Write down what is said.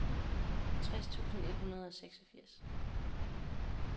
tres tusind et hundrede og seksogfirs